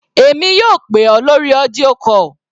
Èmi yóò pè ọ́ lórí audio call.